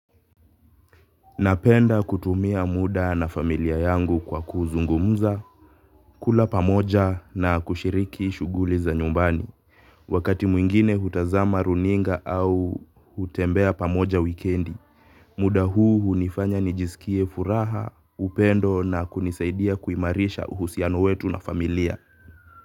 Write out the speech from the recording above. Napenda kutumia muda na familia yangu kwa kuzungumuza, kula pamoja na kushiriki shuguli za nyumbani. Wakati mwingine hutazama runinga au hutembea pamoja wikendi, muda huu hunifanya nijisikie furaha, upendo na kunisaidia kuimarisha uhusiano wetu na familia.